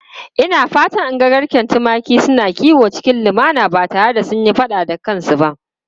Ina fatan in ga garken tumaki suna kiwo cikin lumana ba tare da sun yi fada da kansu ba.